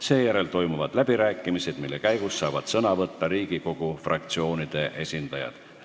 Seejärel toimuvad läbirääkimised, mille käigus saavad sõna võtta Riigikogu fraktsioonide esindajad.